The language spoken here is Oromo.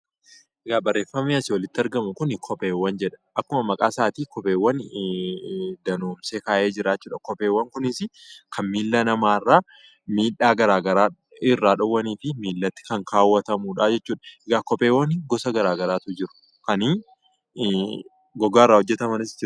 Egaa barreffamni asi olitti argamuu kun kopheewwan jedhama. Akkuma maqaa isaatti danoomsee ka'ee jira. Kopheewwan kunis kan milaa nama irra midhaa gara garaa irra dhowwanifi milaatti kan kaawwatamudha jechuudha. Eegaa kopheewwan gosa gara garaatu jiru. Kan goggaa irra hojjetamanis jiru.